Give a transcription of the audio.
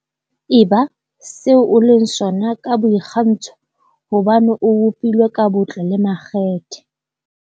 Eba se o leng sona ka boikgantsho hobane o bopilwe ka botle le makgethe.